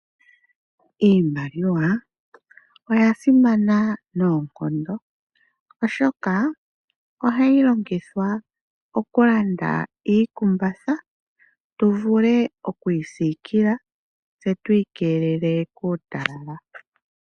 Iimaliwa oya simana noonkondo. Oshoka ohayi longithwa okulanda iikumbatha, tu vule oku isikila tse tu ikeelele kuutalala.